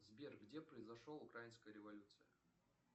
сбер где произошел украинская революция